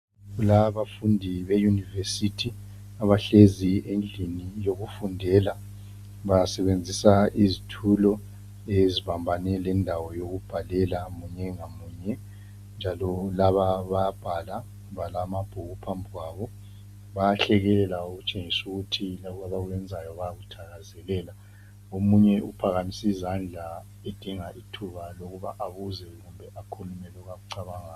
Lababafundi be- university, abahlezi endlini yokufundela. Basebenzisa izitulo, ezibambane lendawo yokubhalela munye ngamunye, njalo laba bayabhala. Balamabhuku phambi kwabo. Bayahlekelela. Okutshengisa ukuthi lokho abakwenzayo bayakuthakazelela. Omunye uphakamise izandla, edinga ithuba lokuba abuze loba akhulume, lokho akucabangayo.